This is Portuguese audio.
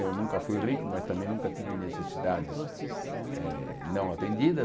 Eu nunca fui rico, mas também nunca tive necessidades eh não atendidas.